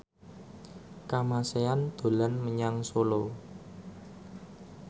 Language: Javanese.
Kamasean dolan menyang Solo